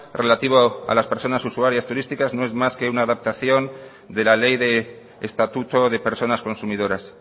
relativo a las personas usuarias turísticas no es más que una adaptación de la ley de estatuto de personas consumidoras